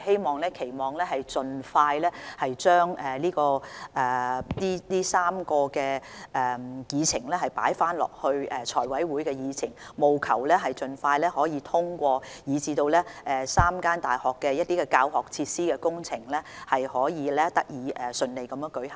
我們期望能夠盡快將這3個項目重新加入財委會的議程，務求盡快獲得通過，使3間大學的教學設施工程得以順利展開。